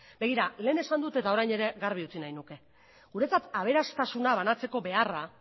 begira lehen esan dut eta orain ere garbi utzi nahiko nuke guretzat aberastasuna banatzeko beharra